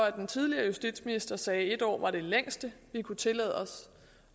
at den tidligere justitsminister sagde at en år var det længste vi kunne tillade os